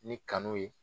Ni kanu ye